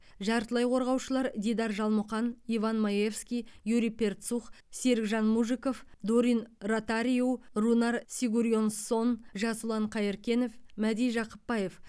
жартылай қорғаушылар дидар жалмұқан иван маевский юрий перцух серікжан мужиков дорин ротариу рунар сигурьонссон жасұлан қайыркенов мәди жақыпбаев